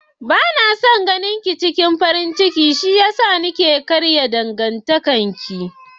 Bana son ganinki cikin farin ciki shiyasa nake son karya dangantakar ki.